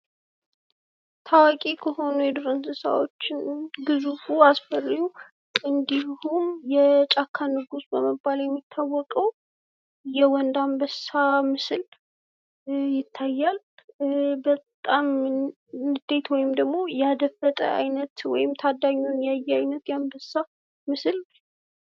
ታዋቂ ከሆኑ የዱር እንስሳዎች ውስጥ ግዙፉ ፣ አስፈሪው እንዲሁም የጫካ ንጉስ በመባል የሚታወቀው የወንድ አንበሳ ምስል ይታያል ። በጣም ንዴት ወይም ደግሞ ያደፈጠ አይነት ወይም ደግሞ ታዳኙን ያየ አይነት የአንበሳ ምስል